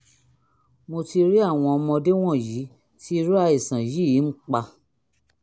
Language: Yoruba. mo ti rí àwọn ọmọdé wọ̀nyí tí irú àìsàn yìí ń pa